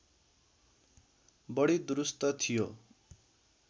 बढी दुरूस्त थियो